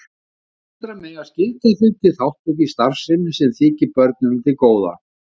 Foreldrar mega skylda þau til þátttöku í starfsemi sem þykir börnunum til góða.